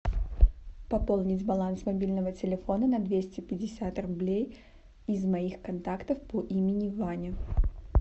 пополнить баланс мобильного телефона на двести пятьдесят рублей из моих контактов по имени ваня